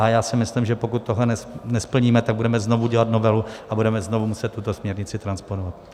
A já si myslím, že pokud tohle nesplníme, tak budeme znovu dělat novelu a budeme znovu muset tuto směrnici transponovat.